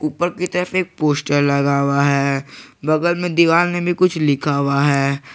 ऊपर की तरफ एक पोस्टर लगा हुआ है बगल में दीवार में भी कुछ लिखा हुआ है।